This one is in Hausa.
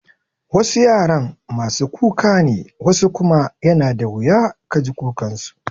Wasu yaran masu kuka ne wasu kuma yana da wuya ka ji kukan su.